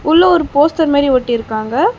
உள்ள ஒரு போஸ்டர் மாறி ஒட்டிருக்காங்க.